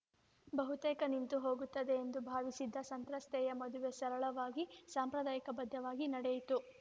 ಬಹುತೇಕ ನಿಂತು ಹೋಗುತ್ತದೆ ಎಂದು ಭಾವಿಸಿದ್ದ ಸಂತ್ರಸ್ತೆಯ ಮದುವೆ ಸರಳವಾಗಿ ಸಂಪ್ರದಾಯಬದ್ಧವಾಗಿ ನಡೆಯಿತು